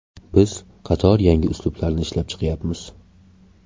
Biz qator yangi uslublarni ishlab chiqyapmiz.